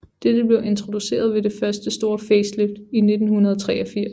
Dette blev introduceret ved det første store facelift i 1983